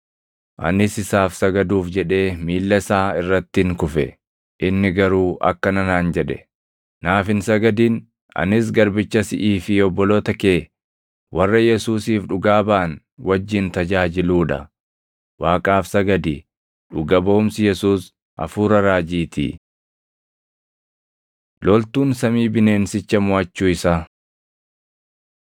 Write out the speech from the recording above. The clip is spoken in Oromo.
Anis isaaf sagaduuf jedhee miilla isaa irrattin kufe. Inni garuu akkana naan jedhe; “Naaf hin sagadin! Anis garbicha siʼii fi obboloota kee warra Yesuusiif dhugaa baʼan wajjin tajaajiluu dha. Waaqaaf sagadi! Dhuga baʼumsi Yesuus hafuura raajiitii.” Loltuun Samii Bineensicha Moʼachuu Isaa